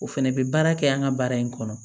O fɛnɛ bɛ baara kɛ an ka baara in kɔnɔ